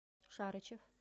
шарычев